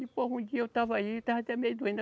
E, pois, um dia eu estava aí, estava até meio doente.